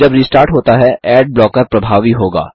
जब रिस्टार्ट होता है एड ब्लॉकर प्रभावी होगा